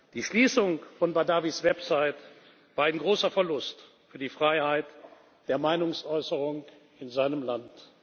Die Schließung von Badawis Website war ein großer Verlust für die Freiheit der Meinungsäußerung in seinem Land.